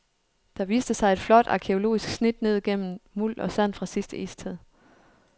Der viste sig et flot arkæologisk snit ned igennem muld og sand fra sidste istid.